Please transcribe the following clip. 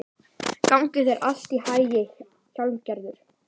Gangi þér allt í haginn, Hjálmgerður.